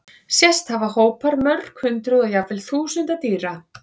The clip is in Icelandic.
Sést hafa hópar mörg hundruð og jafnvel þúsunda dýra.